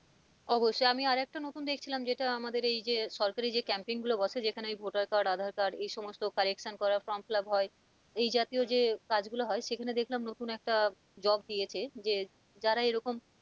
অবশ্যই আমি আর একটা নতুন দেখছিলাম যেটা আমাদের এই যে সরকারি যে camping গুলো বসে যেখানে ওই ভোটার কাজ আধার কাজ এ সমস্ত correction করা form fill up হয় এই জাতীয় যে কাজ গুলো হয় সেখানে দেখলাম নতুন একটা job দিয়েছে যে যারা এরকম,